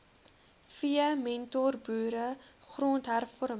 v mentorboere grondhervorming